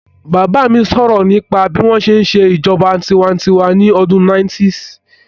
Bàbá mi sọ̀rọ̀ nípa bí wọ́n ṣe n ṣe ìṣèjọba tinwatinwa ní ọdún 90's